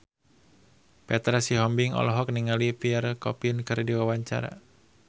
Petra Sihombing olohok ningali Pierre Coffin keur diwawancara